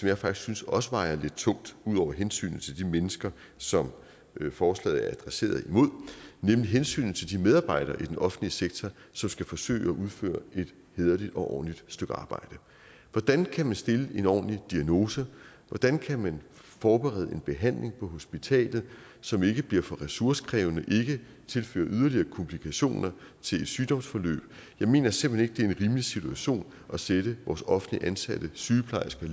jeg faktisk synes også vejer lidt tungt ud over hensynet til de mennesker som forslaget adresserer nemlig hensynet til de medarbejdere i den offentlige sektor som skal forsøge at udføre et hæderligt og ordentligt stykke arbejde hvordan kan man stille en ordentlig diagnose hvordan kan man forberede en behandling på hospitalet som ikke bliver for ressourcekrævende eller ikke tilfører yderligere komplikationer til et sygdomsforløb jeg mener simpelt hen ikke det er en rimelig situation at sætte vores offentligt ansatte sygeplejersker